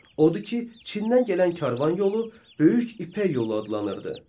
Odur ki, Çindən gələn karvan yolu böyük ipək yolu adlanırdı.